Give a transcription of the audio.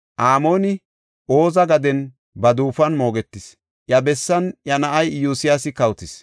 Amooni Oza gaden ba duufuwan moogetis; iya bessan iya na7ay Iyosyaasi kawotis.